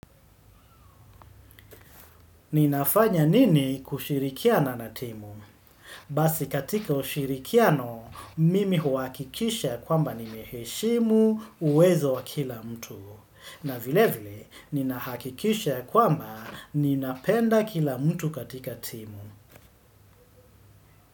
Ninafanya nini kushirikiana na timu? Basi katika ushirikiano, mimi huwakikisha kwamba nimeheshimu uwezo wa kila mtu. Na vile vile, ninahakikisha kwa mba ninapenda kila mtu katika timu.